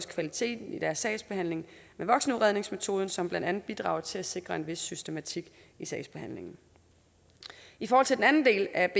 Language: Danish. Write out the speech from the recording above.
kvaliteten af sagsbehandlingen med voksenudredningsmetoden som blandt andet bidrager til at sikre en vis systematik i sagsbehandlingen i forhold til den anden del af